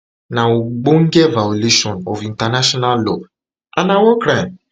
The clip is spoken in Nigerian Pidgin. na ogbonge violation of international law and na war crime